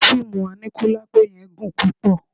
Fíìmù aníkúlápó yẹn gùn púpọ̀